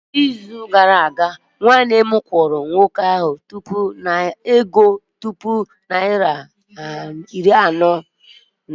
Nwanne m kwụrụ nwoke ahụ ego puku naịra atọ na iri anọ n'izu gara aga